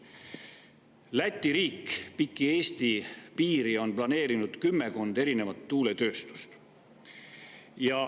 Läti riik on piki Eesti piiri planeerinud kümmekond erinevat tuuletööstust.